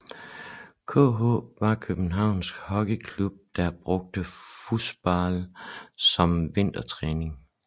KH var Københavns Hockeyklub der brugte floorball som vintertræning